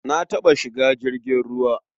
Na taɓa shiga jirgin ruwa.